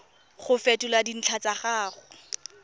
go fetola dintlha tsa gago